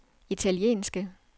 italienske